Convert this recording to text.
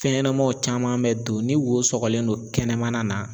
Fɛn ɲɛnɛmaw caman mɛ don ni wo sɔgɔlen no kɛnɛmana na.